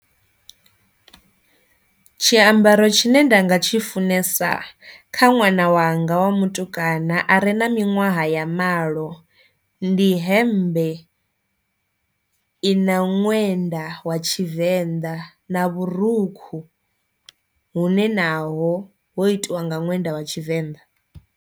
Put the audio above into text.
Tshiambaro tshine nda nga tshi funesa kha ṅwana wanga wa mutukana are na miṅwahwa ya malo ndi hemmbe i i na ṅwenda wa tshivenḓa na vhurukhu hune naho ho itiwa nga ṅwenda vha tshivenḓa.